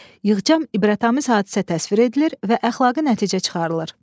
Yığcam ibrətamiz hadisə təsvir edilir və əxlaqi nəticə çıxarılır.